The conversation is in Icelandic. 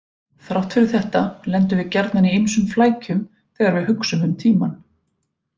Þrátt fyrir þetta lendum við gjarnan í ýmsum flækjum þegar við hugsum um tímann.